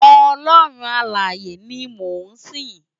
Òlòrún Àláyé ni mó n sin